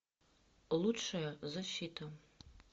лучшая защита